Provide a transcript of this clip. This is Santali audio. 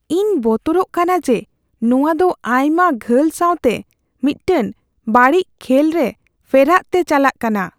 ᱤᱧ ᱵᱚᱛᱚᱨᱚᱜ ᱠᱟᱱᱟ ᱡᱮ ᱱᱚᱣᱟ ᱫᱚ ᱟᱭᱢᱟ ᱜᱷᱟᱹᱞ ᱥᱟᱣᱛᱮ ᱢᱤᱫᱴᱟᱝ ᱵᱟᱹᱲᱤᱡ ᱠᱷᱮᱞ ᱨᱮ ᱯᱷᱮᱨᱟᱜ ᱛᱮ ᱪᱟᱞᱟᱜ ᱠᱟᱱᱟ ᱾